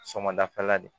Sɔmɔ dafɛla de